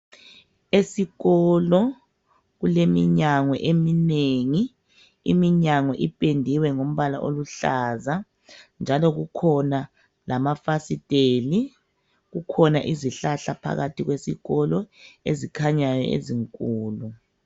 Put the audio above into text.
Esikolo kuleminyango eminengi, iminyango iphendiwe ngombala oluhlaza njalo kukhona lama fasiteli kukhona izihlahla phakathi kwesikolo ezikhanyayo ezinkulu.